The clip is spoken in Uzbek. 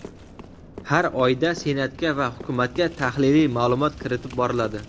har oyda Senatga va Hukumatga tahliliy ma’lumot kiritib boriladi.